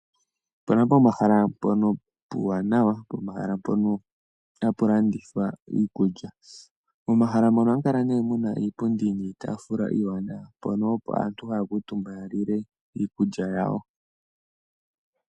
Ope na pomahala mpono puuwanawa mpoka hapu landithwa iikulya. Pomahala mpoka ohapu kala iipundi niitaafula mbyoka haya kuutumba opo yalile iikulya yawo.